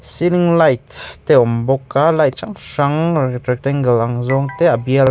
celling light te a awm bawk a light hrang hrang rectangle ang zawng te a bial.